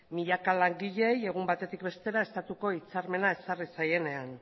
milaka langileei egun batetik bestera estatuko hitzarmena ezarri zaienean